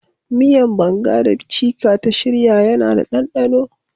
Miyan "banga" da " chika" ta shirya yana da danɗano.